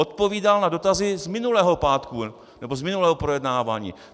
Odpovídal na dotazy z minulého pátku nebo z minulého projednávání.